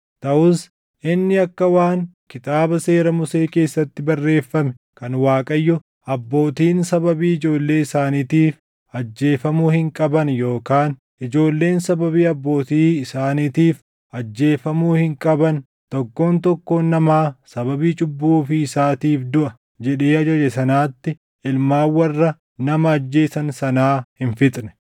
Taʼus inni akka waan Kitaaba Seera Musee keessatti barreeffame kan Waaqayyo, “Abbootiin sababii ijoollee isaaniitiif ajjeefamuu hin qaban yookaan ijoolleen sababii abbootii isaaniitiif ajjeefamuu hin qaban; tokkoon tokkoon namaa sababii cubbuu ofii isaatiif duʼa” jedhee ajaje sanaatti ilmaan warra nama ajjeesan sanaa hin fixne.